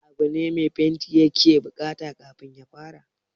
Wani abu ne mai fenti ya ke buƙata kafin ya fara?